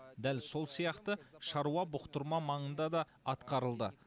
дәл сол сияқты шаруа бұқтырма маңында да атқарылды